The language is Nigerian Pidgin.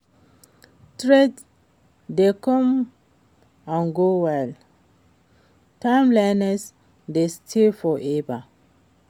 Trends dey come and go while timelessness dey stay forever.